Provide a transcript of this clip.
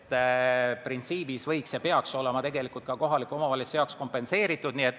Nii et printsiibis peaks see olema kohalikule omavalitsusele kompenseeritud.